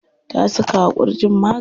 Ta saka wa ƙurjin magani.